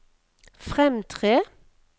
fremtre